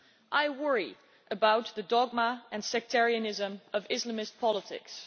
I worry about the dogma and sectarianism of Islamist politics.